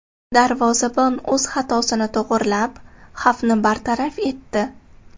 Darvozabon o‘z xatosini to‘g‘rilab, xavfni bartaraf etdi.